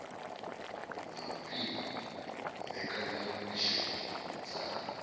na u pima mbekanyamishumo dza